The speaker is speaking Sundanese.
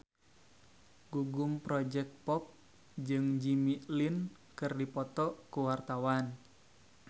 Gugum Project Pop jeung Jimmy Lin keur dipoto ku wartawan